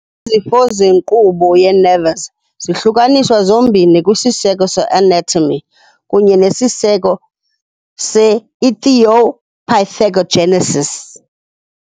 Izifo zenkqubo ye-nervous zihlukaniswa zombini kwisiseko se-anatomy kunye nesiseko se-etiopathogenesis.